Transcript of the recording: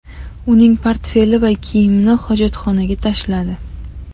Uning portfeli va kiyimini hojatxonaga tashladi.